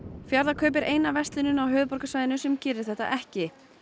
Fjarðarkaup er eina verslunin á höfuðborgarsvæðinu sem gerir þetta ekki